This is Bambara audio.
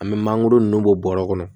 An bɛ mangoro nunnu bɔ bɔrɔ kɔnɔ